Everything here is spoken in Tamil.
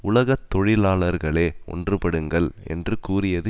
உலக தொழிலாளர்களே ஒன்றுபடுங்கள் என்று கூறியது